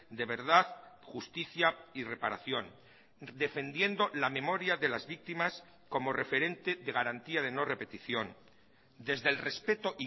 de verdad justicia y reparación defendiendo la memoria de las víctimas como referente de garantía de no repetición desde el respeto